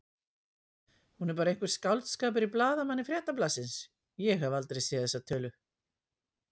Hún er bara einhver skáldskapur í blaðamanni Fréttablaðsins, ég hef aldrei séð þessa tölu.